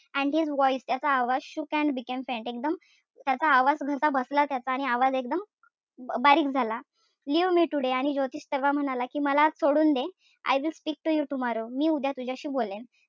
And his voice त्याचा आवाज shook and became faint त्याचा आवाज घास बसला त्याचा. आणि आवाज एकदम बारीक झाला. Leave me today आणि ज्योतिष त्याला म्हणाला कि मला आज सोडून दे. I will speak to you tomorrow मी उद्या तुझ्याशी बोलेल.